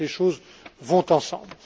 Donc, les choses vont ensemble.